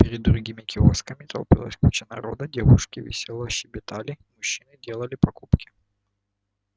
перед другими киосками толпилась куча народа девушки весело щебетали мужчины делали покупки